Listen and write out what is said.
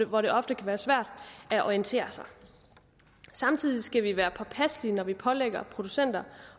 hvor det ofte kan være svært at orientere sig samtidig skal vi være påpasselige når vi pålægger producenter